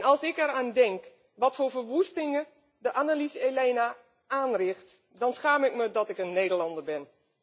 Als ik eraan denk wat voor verwoestingen de Annelies Ilena aanricht, dan schaam ik me dat ik een Nederlander ben.